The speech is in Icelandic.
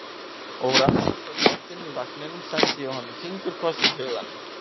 Og úr aftasta sætinu í vagninum sendi ég honum fingurkoss í huganum.